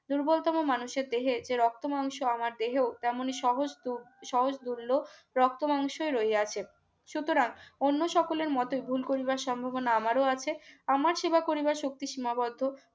দুর্বলতম মানুষের দেহে যে রক্ত মাংস আমার দেহ তেমনিসহজ স্তুপ সহজ দুর্য রক্তমাংসে রহিয়াছে সুতরাং অন্য সকলের মত ভুল করিবার সম্ভাবনা আমারও আছে আমার সেবা করিবার শক্তি সীমাবদ্ধ